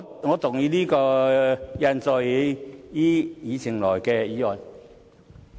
我動議印載於議程內的議案。